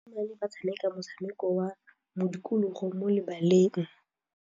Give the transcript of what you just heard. Basimane ba tshameka motshameko wa modikologô mo lebaleng.